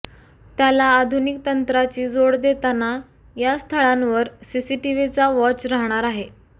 त्याला आधुनिक तंत्राची जोड देताना या स्थळांवर सीसीटीव्हीचा वॉच राहणार आहे